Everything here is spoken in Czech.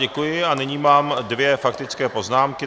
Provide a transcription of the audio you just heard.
Děkuji a nyní mám dvě faktické poznámky.